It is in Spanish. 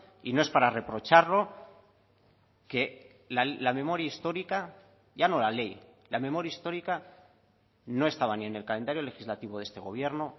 y no es para reprocharlo que la memoria histórica ya no la ley la memoria histórica no estaba ni en el calendario legislativo de este gobierno